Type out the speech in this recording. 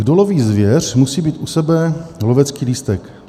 Kdo loví zvěř, musí mít u sebe lovecký lístek."